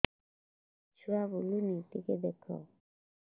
ଛୁଆ ବୁଲୁନି ଟିକେ ଦେଖ